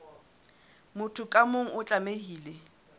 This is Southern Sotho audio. motho ka mong o tlamehile